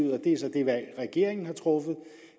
og det er så det valg regeringen har truffet